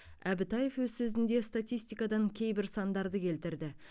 әбітаев өз сөзінде статистикадан кейбір сандарды келтірді